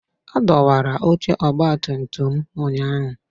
A dọwara oche ọgbatumtum m ụnyahụ